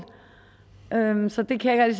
så det kan jeg